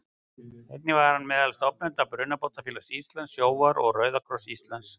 Einnig var hann meðal stofnenda Brunabótafélags Íslands, Sjóvár og Rauða kross Íslands.